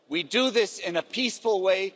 We do this in a peaceful way.